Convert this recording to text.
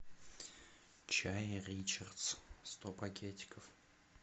чай ричардс сто пакетиков